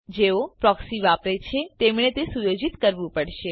જેઓ પ્રોક્સી વાપરે છે તેમણે તે સુયોજિત કરવું પડશે